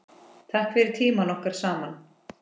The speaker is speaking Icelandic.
Takk fyrir tímann okkar saman.